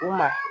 U ma